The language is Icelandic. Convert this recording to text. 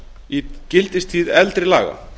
í gildistíð eldri laga